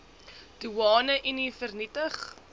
doeane unie vernietig